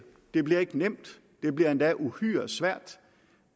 det bliver ikke nemt det bliver endda uhyre svært